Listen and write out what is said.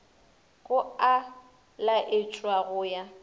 go a laetšwa go ya